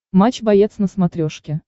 матч боец на смотрешке